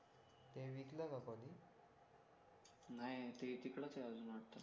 ते तिकडेच हे अजून वाटते